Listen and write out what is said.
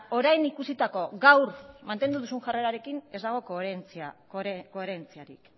orain ikusitako eta gaur mantendu duzu jarrerarekin ez dago koherentziarik